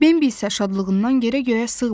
Bembi isə şadlığından yerə-göyə sığmırdı.